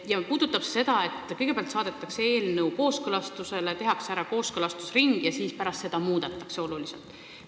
See puudutab seda, et kõigepealt saadetakse eelnõu kooskõlastusele, tehakse kooskõlastusring ära, aga pärast seda muudetakse eelnõu oluliselt.